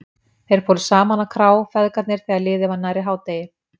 Þeir fóru saman á krá, feðgarnir, þegar liðið var nærri hádegi.